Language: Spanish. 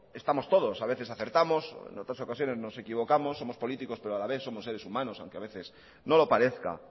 estamos todos a veces acertamos en otras ocasiones nos equivocamos somos políticos pero a la vez somos seres humanos aunque a veces no lo parezca